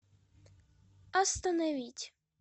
остановить